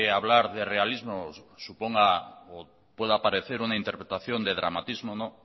hablar de realismo suponga o pueda parecer una interpretación de dramatismo